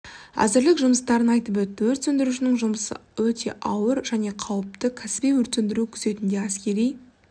әзірлік жұмыстарын айтып өтті өрт сөндірушінің жұмысы ауыр және қауіпті кәсіби өрт сөндіру күзетінде әскери